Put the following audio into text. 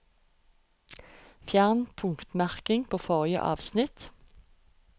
Fjern punktmerking på forrige avsnitt